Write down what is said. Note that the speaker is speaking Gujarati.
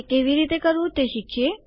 તે કેવી રીતે કરવું તે શીખીએ